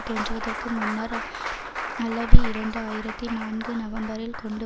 தோன்றுவதற்கு முன்னர் அல்லவி இரண்டு ஆயிரத்தி நான்கு நவம்பரில் கொண்டு